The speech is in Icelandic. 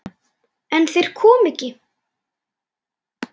En þeir koma ekki.